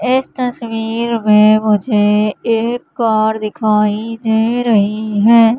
इस तस्वीर में मुझे एक कार दिखाई दे रही है।